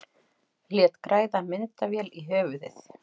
Lét græða myndavél í höfuðið